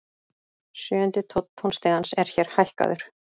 Sjöundi tónn tónstigans er hér hækkaður.